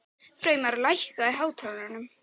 Freymar, lækkaðu í hátalaranum.